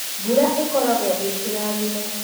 Mbura ĩkoragwo ĩ kĩrathimo.